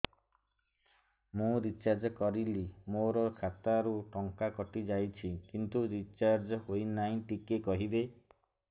ମୁ ରିଚାର୍ଜ କରିଲି ମୋର ଖାତା ରୁ ଟଙ୍କା କଟି ଯାଇଛି କିନ୍ତୁ ରିଚାର୍ଜ ହେଇନି ଟିକେ କହିବେ